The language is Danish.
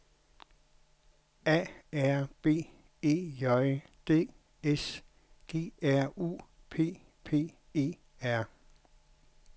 A R B E J D S G R U P P E R